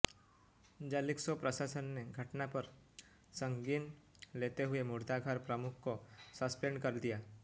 Jalisco प्रशासन ने घटना पर संज्ञान लेते हुए मुर्दाघर प्रमुख को सस्पेंड कर दिया